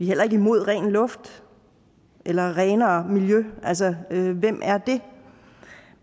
heller ikke imod ren luft eller renere miljø altså hvem er det